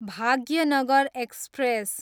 Bhagyanagar express